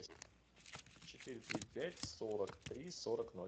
четыре три пять сорок три сорок ноль